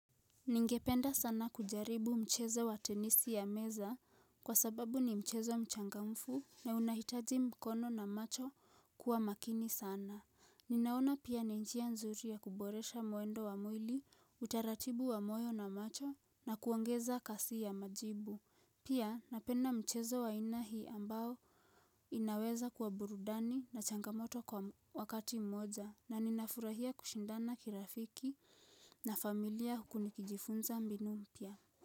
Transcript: Ningependa sana kujaribu mchezo wa tenisi ya meza kwa sababu ni mchezo mchangamfu na unahitaji mkono na macho kuwa makini sana. Ninaona pia ni njia nzuri ya kuboresha mwendo wa mwili, utaratibu wa moyo na macho na kuongeza kasi ya majibu. Pia napenda mchezo wa aina hii ambao inaweza kuwa burudani na changamoto kwa wakati mmoja na ninafurahia kushindana kirafiki na familia huku nikijifunza mbinu mpya.